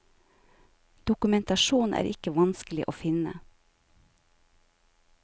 Dokumentasjon er ikke vanskelig å finne.